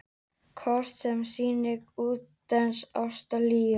Kort sem sýnir útnes Ástralíu.